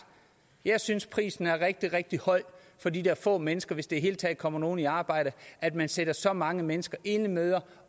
jeg synes at prisen er rigtig rigtig høj for de der få mennesker hvis det hele taget kommer nogen i arbejde og at man sætter så mange mennesker enlige mødre